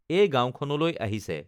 এই গাঁৱখনলৈ আহিছে